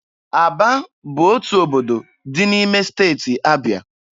Aba bụ otu obodo dị n'ime Steeti Abịa.